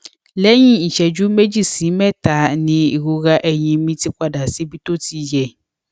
lẹyìn ìṣéjú méjì sí mẹta ni ìrora ẹyìn mi ti padà síbi tó ti yẹ